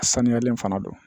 A sanuyalen fana don